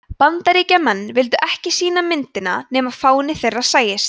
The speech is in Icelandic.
bandaríkjamenn vildu ekki sýna myndina nema fáni þeirra sæist